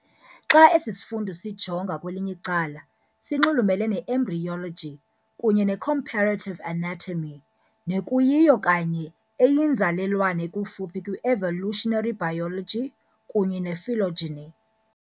Xa esi sifundo usijonga kwelinye icala, sinxulumele ne-embryology kunye ne-comparative anatomy, nekuyiyo kanye eyinzalelwane ekufuphi kwi-evolutionary biology kunye ne-phylogeny.